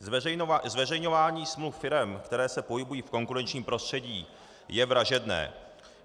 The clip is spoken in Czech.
Zveřejňování smluv firem, které se pohybují v konkurenčním prostředí, je vražedné.